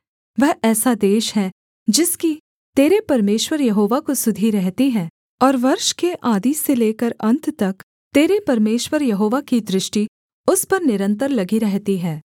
वह ऐसा देश है जिसकी तेरे परमेश्वर यहोवा को सुधि रहती है और वर्ष के आदि से लेकर अन्त तक तेरे परमेश्वर यहोवा की दृष्टि उस पर निरन्तर लगी रहती है